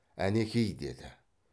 әнеки деді